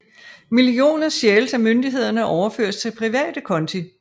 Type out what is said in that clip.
Millioner stjæles af myndighederne og overføres til private konti